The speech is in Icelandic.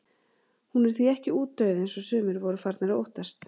Hún er því ekki útdauð eins og sumir voru farnir að óttast.